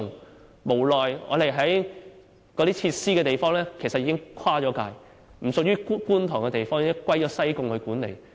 但無奈有關設施的位置其實已經跨界，不屬於觀塘區，而是由西貢區管理。